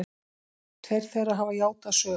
Tveir þeirra hafa játað sök